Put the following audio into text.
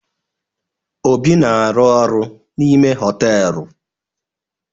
Obi na-aru oru n'ime họtelu.